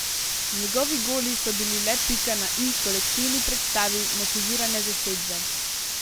Njegovi goli so bili le pika na i kolektivni predstavi motivirane zasedbe.